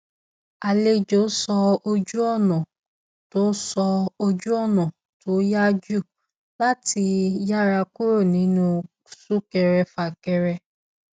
àlejò sọ ojúọnà tó sọ ojúọnà tó yá jù láti yára kúrò nínú súnkẹrẹfàkẹrẹ